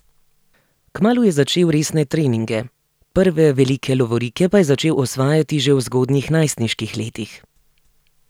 Kmalu je začel resne treninge, prve velike lovorike pa je začel osvajati že v zgodnjih najstniških letih.